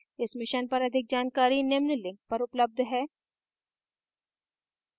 इस mission पर अधिक जानकारी निम्न लिंक पर उपलब्ध है